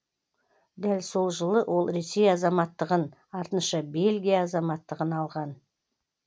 дәл сол жылы ол ресей азаматтығын артынша белгия азаматтығын алған